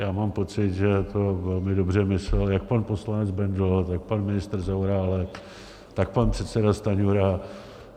Já mám pocit, že to velmi dobře myslel jak pan poslanec Bendl, tak pan ministr Zaorálek, tak pan předseda Stanjura.